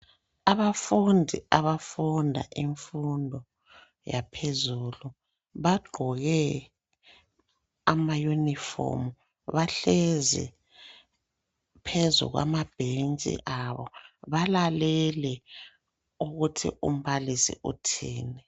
Abafundi abafunda imfundo yaphezulu bagqoke amayunifomu bahlezi phezu kwamabhentshi abo balalele ukuthi umbalisi uthini.